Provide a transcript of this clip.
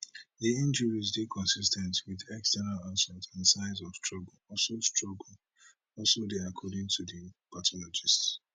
di injuries dey consis ten t wit external assault and signs of struggle also struggle also dey according to di pathologists